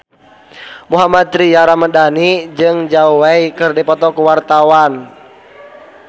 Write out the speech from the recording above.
Mohammad Tria Ramadhani jeung Zhao Wei keur dipoto ku wartawan